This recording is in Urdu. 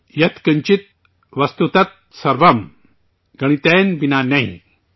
یت کنچت وستو تت سروم، گنی تین بنا نہی!